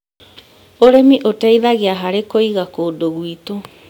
ũrĩmi ũteithagia harĩ kũiga kũndũ gwitũ.